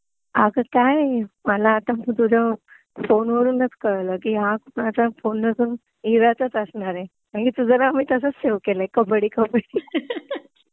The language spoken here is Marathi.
अगं काय हे मला आता तुझ्या फोनवरूनच कळलं कि कुणाचा फोन नसून इराचाच असणार आहे. म्हणेज तुझं नाव मी तसच सेव्ह केलाय कब्बडी कब्बडी